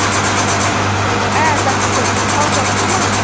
ә тақсыр хал жақсы ма